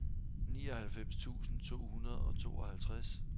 nioghalvfems tusind to hundrede og tooghalvtreds